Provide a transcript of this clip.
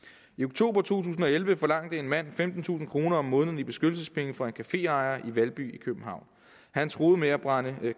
to tusind og elleve forlangte en mand femtentusind kroner om måneden i beskyttelsespenge fra en caféejer i valby i københavn han truede med at brænde